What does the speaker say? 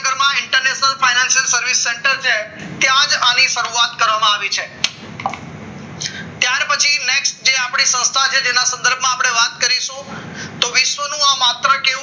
international finance service center જે છે ત્યા જ ની શરૂઆત કરવામાં આવી છે ત્યાર પછી next આપણી સંસ્થા છે જેના સંદર્ભમાં આપણે વાત કરીશું તો વિશ્વનું આ માત્ર